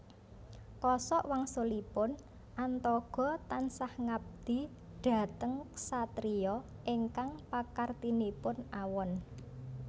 Kosok wangsulipun Antogo tansah ngabdi dhateng ksatria ingkang pakartinipun awon